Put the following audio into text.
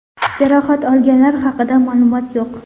Jarohat olganlar haqida ma’lumot yo‘q.